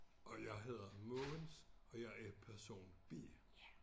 Og jeg hedder Mogens og jeg er person B